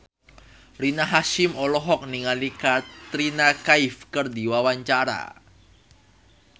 Rina Hasyim olohok ningali Katrina Kaif keur diwawancara